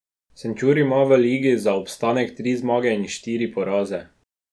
Šenčur ima v ligi za obstanek tri zmage in štiri poraze.